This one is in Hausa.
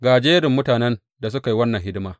Ga jerin mutanen da suka yi wannan hidima.